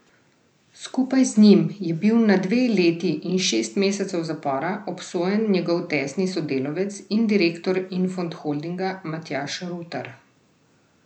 Skupaj z njim je bil na dve leti in šest mesecev zapora obsojen njegov tesni sodelavec in direktor Infond Holdinga Matjaž Rutar.